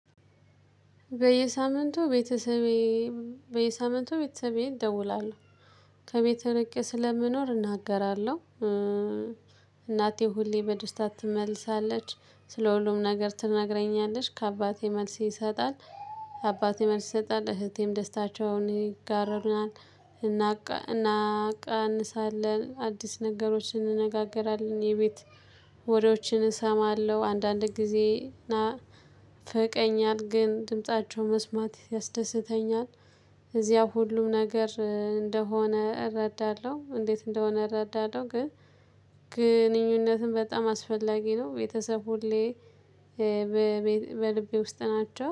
በየሳምንቱ ቤተሰቤ በየሳምንቱ ቤተሰቤ እደውላለሁ ከቤቴ ርቄ ስለምኖር እናገራለሁ። እናቴ ሁሌ በደስታ ትመልሳለች ስለ ሁሉም ነገር ትነግረኛለች ከአባቴ መልስ ይሰጣል። አባቴ መልስ ይሰጣል እህቴም ደስታቸውን ይጋሩናል። እናቃንሳለን አዲስ ነገሮችን እንነጋገራለን የቤት ወሬዎችን እሰማለሁ አንዳንድ ጊዜ እና ይናፍቀኛል ግን ድምፃቸውን መስማት ያስደስተኛል። እዚያ ሁሉ ነገር እንደሆነ እረዳለሁ እንዴት እንደሆነ እረዳለሁ። ግን ግንኙነትም በጣም አስፈላጊ ነው። ቤተሰብ ሁሌ በልቤ ውስጥ ናቸው